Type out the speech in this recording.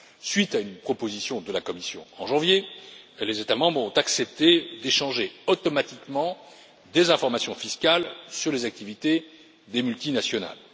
À la suite d'une proposition de la Commission en janvier, les États membres ont accepté d'échanger automatiquement des informations fiscales sur les activités des multinationales.